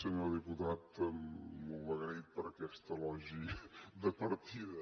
senyor diputat molt agraït per aquest elogi de partida